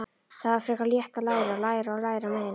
Það var frekar létt: að læra, læra og læra meira.